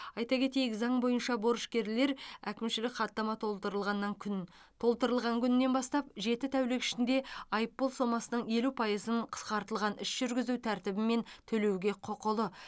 айта кетейік заң бойынша борышкерлер әкімшілік хаттама толтырылғаннан күн толтырылған күннен бастап жеті тәулік ішінде айыппұл сомасының елу пайызын қысқартылған іс жүргізу тәртібімен төлеуге құқылы